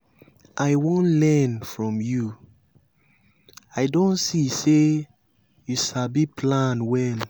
i wan learn from you. i don see say you sabi plan well.